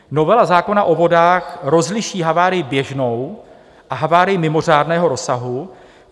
Novela zákona o vodách rozliší havárii běžnou a havárii mimořádného rozsahu.